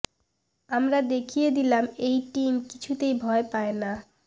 আমরা দেখিয়ে দিলাম এই টিম কিছুতেই ভয় পায় না